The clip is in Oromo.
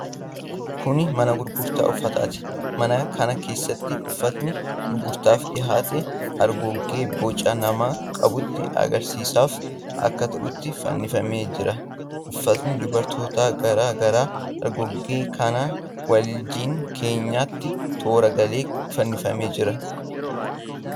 Kun mana gurgurtaa uffataati. Mana kana keessatti uffatni gurgurtaaf dhihaate hargoggee boca namaa qabutti agarsiisaaf akka ta'utti fannifamee jira. Uffatni dubartootaa garaa garaa hargoggee kanaa wajjin keenyanitti toora galee fannifamee jira.